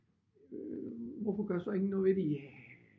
Hvorfor gør så ingen noget ved det ja